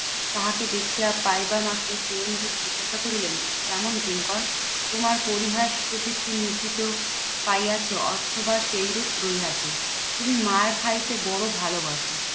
তাহাকে দেখিয়া পাইবা মাত্রই চিরঞ্জিত জিজ্ঞাসা করিলেন, কেমন কিঙ্কর? তোমার পরিহাস প্রবৃত্তি নির্বিত পাইয়াছে অথবা সেইরূপ রহিয়াছে। তুমি মার্ খাইতে বড়ো ভালোবাসো।